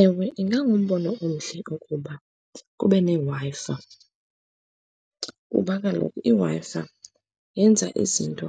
Ewe, ingangumbono omhle ukuba kube neWi-Fi, kuba kaloku iWi-Fi yenza izinto